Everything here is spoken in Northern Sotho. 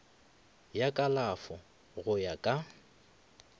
ya kalafo go ya ka